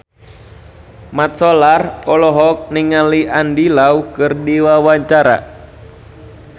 Mat Solar olohok ningali Andy Lau keur diwawancara